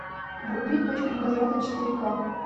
вруби точка невозврата четыре ка